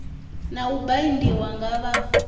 na u baindiwa nga vha